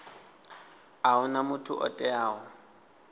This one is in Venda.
a huna muthu o teaho